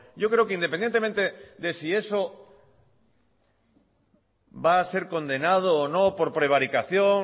yo creo que independientemente de si eso va a ser condenado o no por prevaricación